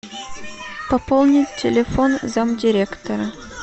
пополнить телефон зам директора